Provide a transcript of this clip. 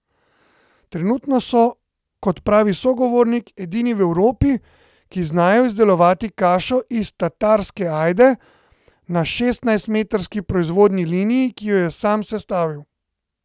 Trenutno so, kot pravi sogovornik, edini v Evropi, ki znajo izdelovati kašo iz tatarske ajde, na šestnajstmetrski proizvodnji liniji, ki jo je sam sestavil.